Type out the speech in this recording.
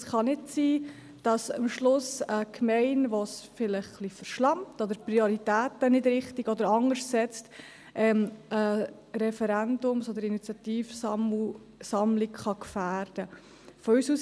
Es kann nicht sein, dass am Schluss eine Gemeinde, die es vielleicht etwas verschlampt oder die ihre Prioritäten anders setzt, eine Unterschriftensammlung gefährden kann.